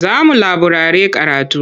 Za mu laburare karatu.